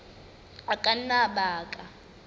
a ka nna a baka